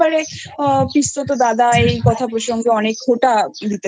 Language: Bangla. এবারে পিসতোদাদা এই কথা প্রসঙ্গে অনেক খোটা